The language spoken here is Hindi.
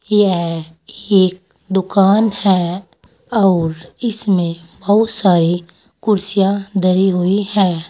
यह एक दुकान है और इसमें बहुत सारे कुर्सियां धरी हुई हैं।